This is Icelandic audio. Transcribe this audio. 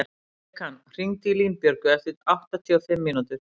Bekan, hringdu í Línbjörgu eftir áttatíu og fimm mínútur.